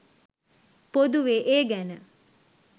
පොදුවේ ඒ ගැන